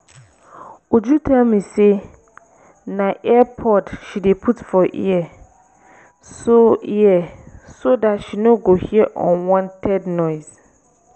uju tell me say na ear pod she dey put for ear so ear so dat she no go hear unwanted noise